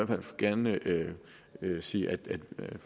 hvert fald gerne sige at vi